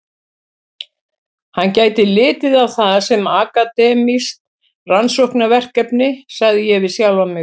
Hann gæti litið á það sem akademískt rannsóknarverkefni, sagði ég við sjálfan mig.